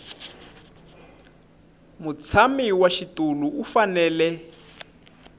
mutshami wa xitulu u fanele